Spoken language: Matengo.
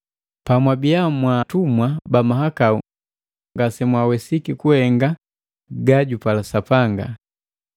Pamwabia mwa atumwa ba mahakau ngase mwawesiki kuhenga gajupala Sapanga.